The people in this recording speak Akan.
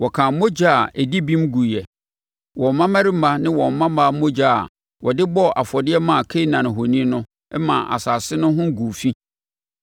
Wɔkaa mogya a ɛdi bem guiɛ; wɔn mmammarima ne wɔn mmammaa mogya a wɔde bɔɔ afɔdeɛ maa Kanaan ahoni no maa asase no ho guu fi.